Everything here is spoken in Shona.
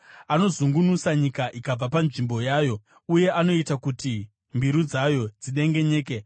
Anozungunusa nyika ikabva panzvimbo yayo uye anoita kuti mbiru dzayo dzidengenyeke.